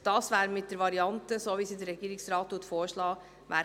Das wäre mit der Variante gewährleistet, welche der Regierungsrat vorschlägt.